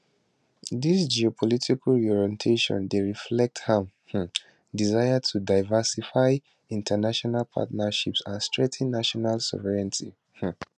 dis geopolitical reorientation dey reflect a um desire to diversify international partnerships and strengthen national sovereignty um